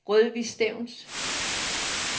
Rødvig Stevns